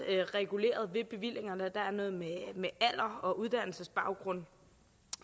reguleret ved bevillingerne og dermed med alder og uddannelsesbaggrund